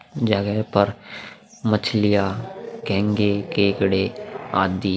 पर मछलियां घेंघे केकड़े आदि।